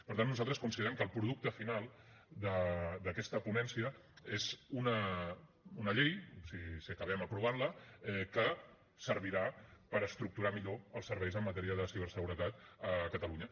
per tant nosaltres considerem que el producte final d’aquesta ponència és una llei si acabem aprovant la que servirà per estructurar millor els serveis en matèria de ciberseguretat a catalunya